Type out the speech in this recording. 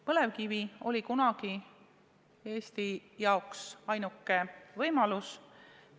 Põlevkivi oli kunagi Eesti jaoks ainuke võimalus.